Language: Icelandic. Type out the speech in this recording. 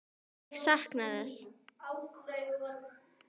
Ég sakna þess.